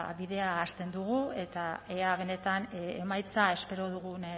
bueno ba bidea hasten dugu eta ea benetan emaitza espero dugun